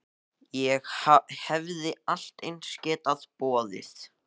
Ég hefði allt eins getað boðið